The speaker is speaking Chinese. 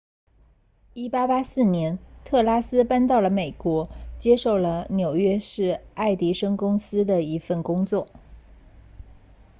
1884年特斯拉搬到了美国接受了纽约市爱迪生公司的一份工作